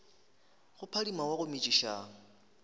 go phadima wa go metšiša